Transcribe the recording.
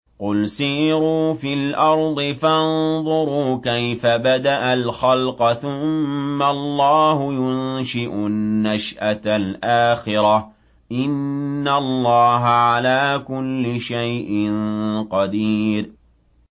قُلْ سِيرُوا فِي الْأَرْضِ فَانظُرُوا كَيْفَ بَدَأَ الْخَلْقَ ۚ ثُمَّ اللَّهُ يُنشِئُ النَّشْأَةَ الْآخِرَةَ ۚ إِنَّ اللَّهَ عَلَىٰ كُلِّ شَيْءٍ قَدِيرٌ